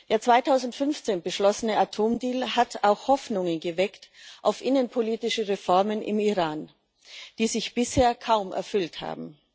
Der 2015 beschlossene Atomdeal hat auch Hoffnungen auf innenpolitische Reformen im Iran geweckt, die sich bisher kaum erfüllt haben.